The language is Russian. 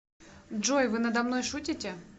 джой вы надо мной шутите